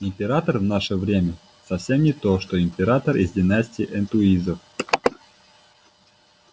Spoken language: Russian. император в наше время совсем не то что император из династии энтуизов